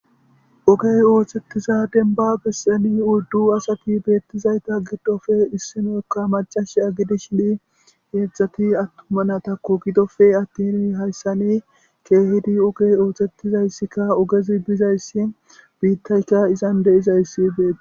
ogey oohthettiza denba besseni uddu asati beettizayta giddofe issinoekka macash agidi shidi geedzdzati attumana takko gidofe attini hayssani keehidi ogey oothettizayssikka ogezi bizayssi biittayka izan deizayssi beetes.